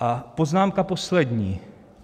A poznámka poslední.